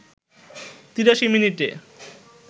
৮৩ মিনিটে